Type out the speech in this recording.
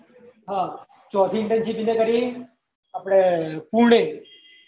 હા ચૌથી internship કિધર કરી આપડે પુણે